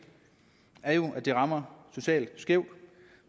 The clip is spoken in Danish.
er jo at det rammer socialt skævt